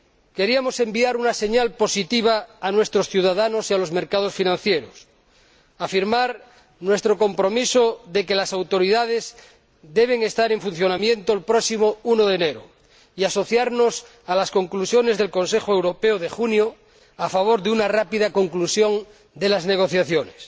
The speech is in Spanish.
Queríamos enviar una señal positiva a nuestros ciudadanos y a los mercados financieros, afirmar nuestro compromiso de que las Autoridades deben estar en funcionamiento el próximo 1 de enero y asociarnos a las conclusiones del Consejo Europeo de junio a favor de una rápida conclusión de las negociaciones.